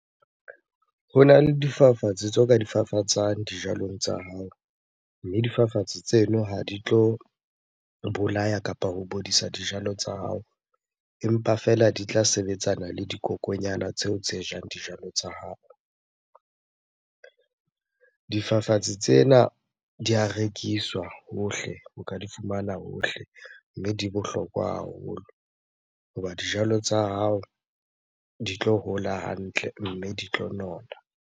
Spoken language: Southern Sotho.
Hona le difafatsi tseo ka di fafatsang dijalong tsa hao. Mme difafatsi tseno ha di tlo bolaya kapa ho bodisa dijalo tsa hao empa fela di tla sebetsana le dikokonyana tseo tse jang dijalo tsa hao. Difafatsi tsena di ya rekiswa hohle, o ka di fumana hohle. Mme di bohlokwa haholo hoba dijalo tsa hao di tlo hola hantle mme di tlo nona.